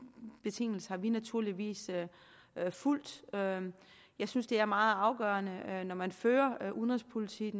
betingelser har vi naturligvis fulgt jeg synes det er meget afgørende når man fører udenrigspolitik